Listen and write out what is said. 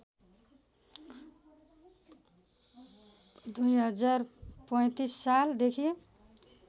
२०३५ साल देखि